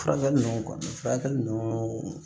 Furakɛli ninnu kɔni furakɛli ninnu